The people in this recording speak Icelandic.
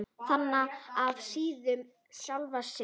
Þaðan af síður sjálfan sig.